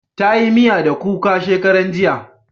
Ta yi miya da kuka shakaran jiya